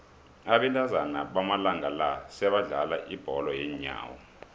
abentazana bamalanga la sebadlala ibholo yeenyawo